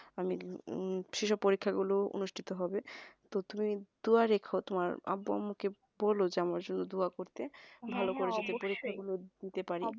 মানে যেসব পরীক্ষাগুলো অনুষ্ঠিত হবে তো তুমি দুয়া রেখো তোমার আব্বু আম্মু আমাকে আমার জন্য দোয়া করতে দিতেপারি